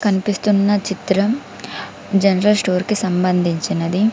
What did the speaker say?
కన్పిస్తున్న చిత్రం general store కి సంబంధించినది.